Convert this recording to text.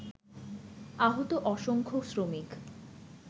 আহত অসংখ্য শ্রমিক